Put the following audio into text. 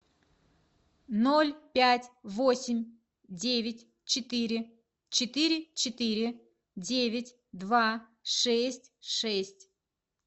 ноль пять восемь девять четыре четыре четыре девять два шесть шесть